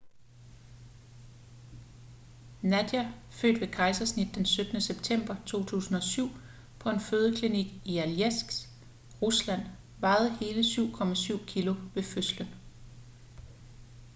nadia født ved kejsersnit den 17. september 2007 på en fødeklinik i alejsk rusland vejede hele 7,7 kilo ved fødslen